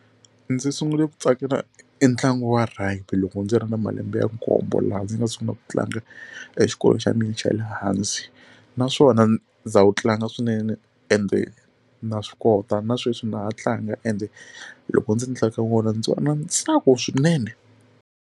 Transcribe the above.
Ndzi sungule ku tsakela e ntlangu wa rugby loko ndzi ri na malembe ya nkombo laha ndzi nga sungula ku tlanga exikolweni xa mina xa le hansi naswona ndza wu tlanga swinene ende na swi kota na sweswi na ha tlanga ende loko ndzi tlanga wona ndzi va na ntsako swinene.